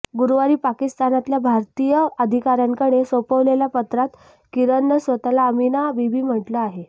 गुरुवारी पाकिस्तानातल्या भारतीय अधिकाऱ्यांकडे सोपवलेल्या पत्रात किरणनं स्वतःला अमीना बीबी म्हटलं आहे